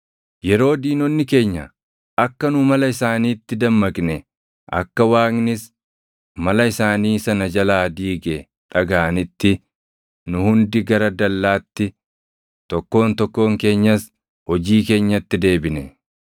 Yeroo diinonni keenya akka nu mala isaaniitti dammaqne, akka Waaqnis mala isaanii sana jalaa diige dhagaʼanitti nu hundi gara dallaatti, tokkoon tokkoon keenyas hojii keenyatti deebine.